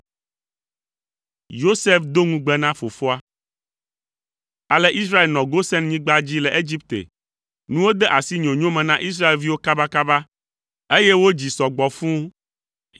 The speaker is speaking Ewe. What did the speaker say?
Ale Israel nɔ Gosenyigba dzi le Egipte. Nuwo de asi nyonyo me na Israelviwo kabakaba, eye wodzi sɔ gbɔ fũu.